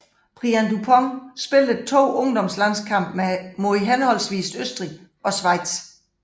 Brian Dupont spillede 2 ungdomslandskampe mod henholdsvis Østrig og Schweiz